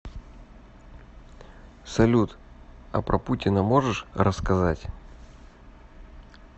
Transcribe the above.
салют а про путина можешь рассказать